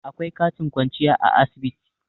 akwai katin kwanciya a asibiti